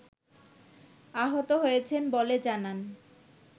আহত হয়েছেন বলে জানান